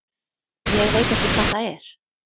Ég veit ekki hvað það er.